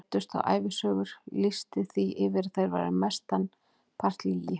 Leiddust þá ævisögur, lýsti því yfir að þær væru mestan part lygi.